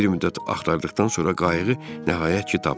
Bir müddət axtardıqdan sonra qayığı nəhayət ki tapdıq.